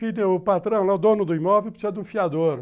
Filho, o patrão, o dono do imóvel precisa de um fiador.